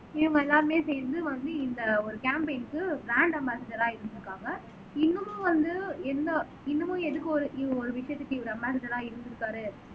இவங்க எல்லாருமே சேர்ந்து வந்து இந்த ஒரு காம்பெய்ன்க்கு ப்ராண்ட் அம்பாசிட்டரா இருந்திருக்காங்க இன்னமும் வந்து எந்த இன்னமும் எதுக்கு ஒரு இவங்க ஒரு விஷயத்துக்கு இவரு அம்பாசிட்டரா இருந்திருக்காரு